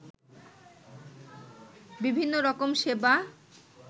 বিভিন্ন রকম সেবা